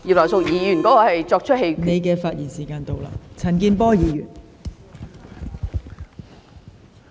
黃議員，你的發言時限到了。